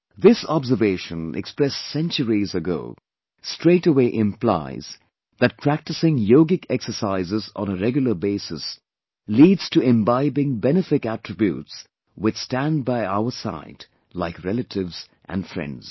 Thisobservation expressed centuries ago, straightaway implies that practicing yogic exercises on a regular basis leads to imbibing benefic attributes which stand by our side like relatives and friends